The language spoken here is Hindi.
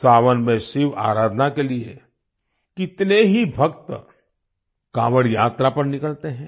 सावन में शिव आराधना के लिए कितने ही भक्त काँवड़ यात्रा पर निकलते हैं